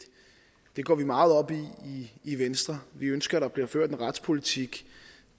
det går vi meget op i i venstre vi ønsker der bliver ført en retspolitik